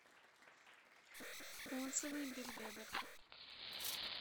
отзывы бельведер